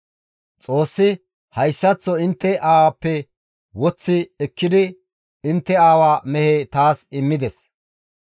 Xoossi hayssaththo intte aawappe woththi ekkidi intte aawa mehe taas immides.